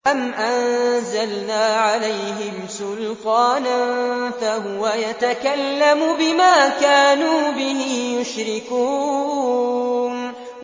أَمْ أَنزَلْنَا عَلَيْهِمْ سُلْطَانًا فَهُوَ يَتَكَلَّمُ بِمَا كَانُوا بِهِ يُشْرِكُونَ